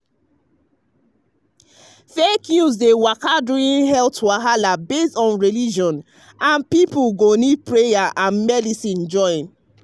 fake news dey waka during health wahala based on religion and people go need prayer and medicine join.